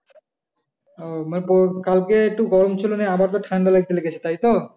আহ মানে কালকে একটু গরম ছিল আবার ঠাণ্ডা লেগেছে তাই তো?